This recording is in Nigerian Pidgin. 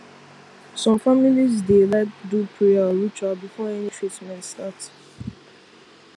some families dey like do prayer or ritual before any treatment start